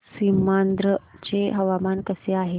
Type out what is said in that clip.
सीमांध्र चे हवामान कसे आहे